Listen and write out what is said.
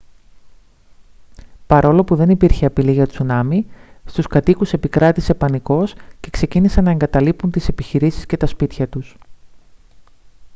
παρόλο που δεν υπήρχε απειλή για τσουνάμι στους κατοίκους επικράτησε πανικός και ξεκίνησαν να εγκαταλείπουν τις επιχειρήσεις και τα σπίτια τους